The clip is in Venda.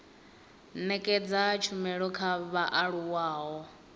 nekedza tshumelo kha vhaaluwa ho